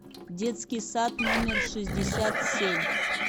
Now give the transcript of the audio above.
детский сад номер шестьдесят семь